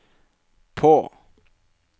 på